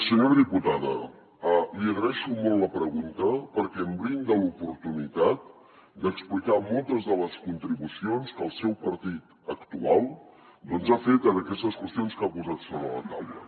senyora diputada li agraeixo molt la pregunta perquè em brinda l’oportunitat d’explicar moltes de les contribucions que el seu partit actual doncs ha fet en aquestes qüestions que ha posat sobre la taula